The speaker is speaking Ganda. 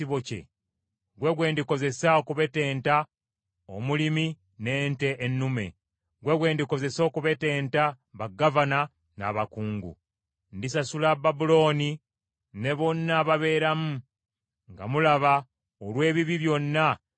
Ggwe gwe ndikozesa okubetenta omusumba n’ekisibo kye, ggwe gwe ndikozesa okubetenta omulimi n’ente ennume, ggwe gwe ndikozesa okubetenta bagavana n’abakungu.